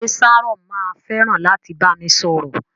Ṣe Sharon ma fẹràn láti bami sọ̀rọ̀?